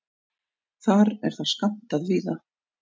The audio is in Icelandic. Þar er það skammtað víða.